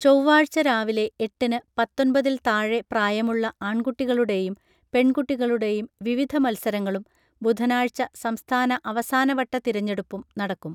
ചൊവ്വാഴ്ച രാവിലെ എട്ടിന് പത്തൊൻപതിൽത്താഴെ പ്രായമുള്ള ആൺകുട്ടികളുടെയും പെൺകുട്ടികളുടെയും വിവിധ മത്സരങ്ങളും ബുധനാഴ്ച സംസ്ഥാന അവസാനവട്ട തിരഞ്ഞെടുപ്പും നടക്കും